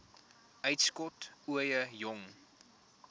uitskot ooie jong